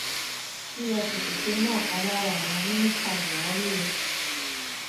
efcc ti mú ọkan lára àwọn mínísítà buhari o